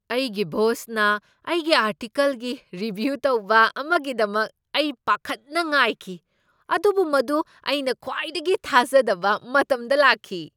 ꯑꯩꯒꯤ ꯕꯣꯁꯅ ꯑꯩꯒꯤ ꯑꯥꯔꯇꯤꯀꯜꯒꯤ ꯔꯤꯚ꯭ꯌꯨ ꯇꯧꯕ ꯑꯃꯒꯤꯗꯃꯛ ꯑꯩ ꯄꯥꯈꯠꯅ ꯉꯥꯏꯈꯤ, ꯑꯗꯨꯕꯨ ꯃꯗꯨ ꯑꯩꯅ ꯈ꯭ꯋꯥꯏꯗꯒꯤ ꯊꯥꯖꯗꯕ ꯃꯇꯝꯗ ꯂꯥꯛꯈꯤ꯫